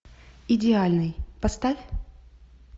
идеальный поставь